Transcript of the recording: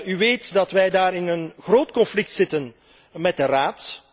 U weet dat wij daarover in een groot conflict zitten met de Raad.